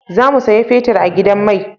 Za mu saya fetir a gidan mai